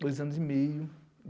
Dois anos e meio.